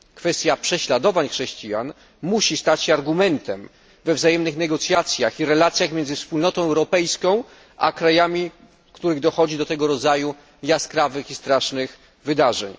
Kwestia prześladowań chrześcijan musi stać się argumentem we wzajemnych negocjacjach i relacjach między Wspólnotą Europejską, a krajami, w których dochodzi do takich jaskrawych i strasznych wydarzeń.